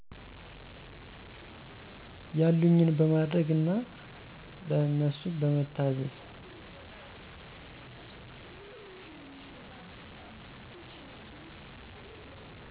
ያሉኝን በማድረግ እና ለነሱ በመታዘዝ።